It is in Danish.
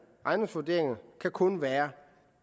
ejendomsvurderinger kan kun være